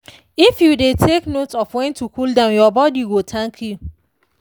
if you dey take note of when to cool down your body go thank you.